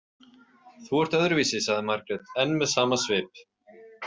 Þú ert öðruvísi, sagði Margrét, enn með sama svip.